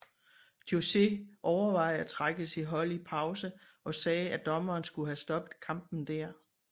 José overvejede at trække sit hold i pause og sagde at dommeren skulle have stoppet kampen der